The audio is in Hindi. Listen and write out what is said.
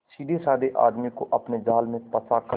सीधेसाधे आदमी को अपने जाल में फंसा कर